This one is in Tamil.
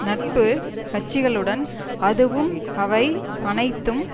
நட்பு கட்சிகளுடன் அதுவும் அவை அனைத்தும்